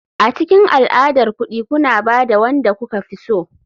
A cikin al'adar kuɗi kuna ba da wanda kuka fi so.